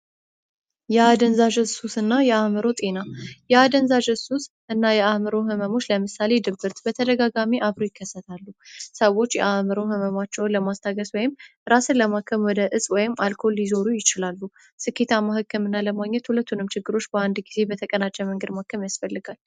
የአደንዛዥ ሱስ እና የአእምሮ ጤና ያደንዛዥ ዕ እና የአዕምሮ ህመሙ ለምሳሌ ድብርት በተደጋጋሚ ሰዎች አዕምሮ ህመማቸውን ለማስታገስ ወይም ራስን ለማከም ወደ ወይም አልኮል ይዞሩ ይችላሉ። ስኬታማ ህገ መንግቱንም ችግሮች በአንድ ጊዜ በተቀናጀ መንገድ ያስፈልጋል ።